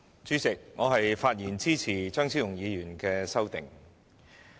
主席，我發言支持張超雄議員的修正案。